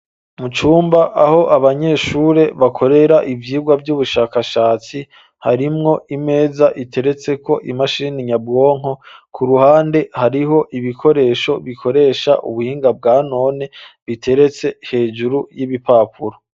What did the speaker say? Mu cumba aho abanyeshure bakorera ivyigwa vy'ubushakashatsi ,harimwo imeza iteretseko imashini nyabwonko ku ruhande hariho ibikoresho bikoresha ubuhinga bwa none biteretse hejuru y'ibipapuro.